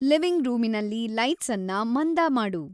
living ರೂಮಿನಲ್ಲಿ ಲೈಟ್ಸನ್ನ ಮಂದ ಮಾಡು